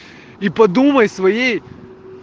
и подумай своей